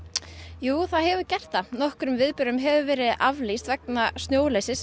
jú nokkrum viðburðum hefur verið aflýst vegna snjóleysis